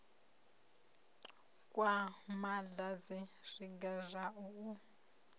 kwa madanzi zwiga zwa u